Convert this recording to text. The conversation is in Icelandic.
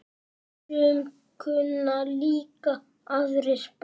Sum kunna líka aðrar bænir.